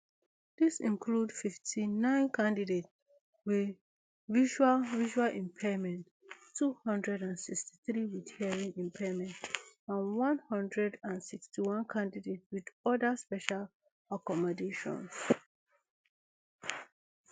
dis includes fifty-nine candidate wey visual visual impairment two hundred and sixty-three wit hearing impairment and one hundred and sixty-one candidate wit oda special accommodation